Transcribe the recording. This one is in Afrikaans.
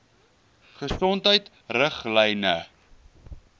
gesondheidriglyne